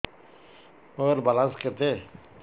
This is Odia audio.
ମୋର ବାଲାନ୍ସ କେତେ